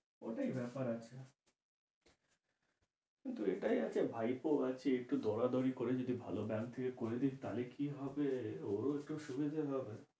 ওতেই ব্যাপার আছে। কিন্তু এটাই আছে ভাইপো আছে একটু দরাদরি করে যদি ভালো bank থেকে করে দিস তাহলে কি হবে ওরও একটু সুবিধা হবে।